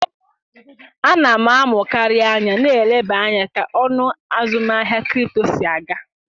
A na m amụkarị anya na-eleba anya ka ọnụ azụmaahịa kripto si aga.